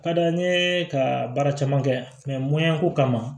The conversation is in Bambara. Ka d'a n ye ka baara caman kɛ muyako kama